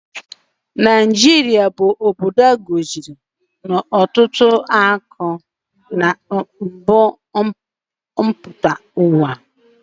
Naijata bụ obodo a gọziri na ọtụtụ akụ mbu mpụta ụwa